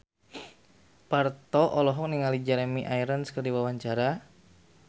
Parto olohok ningali Jeremy Irons keur diwawancara